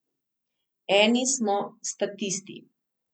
Eni smo statisti.